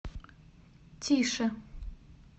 тише